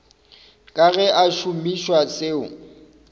ka ge a šomiša seo